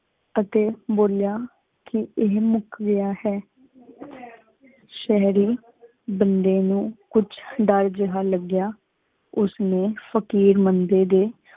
ਅਗੀ ਬੋਲਿਆ ਕਿ ਇਹ ਮੁਕ ਗਿਆ ਹੈਂ। ਸ਼ਹਰੀ ਬੰਦੇ ਨੂ ਕੁਛ ਦਰ ਜੇਹਾ ਲਗਿਆ ਉਸ ਨੀ ਫ਼ਕੀਰ ਬੰਦੇ ਦੇ